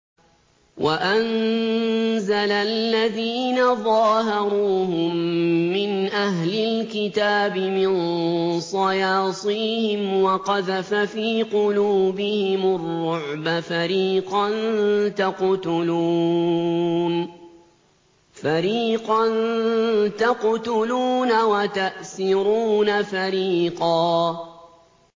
وَأَنزَلَ الَّذِينَ ظَاهَرُوهُم مِّنْ أَهْلِ الْكِتَابِ مِن صَيَاصِيهِمْ وَقَذَفَ فِي قُلُوبِهِمُ الرُّعْبَ فَرِيقًا تَقْتُلُونَ وَتَأْسِرُونَ فَرِيقًا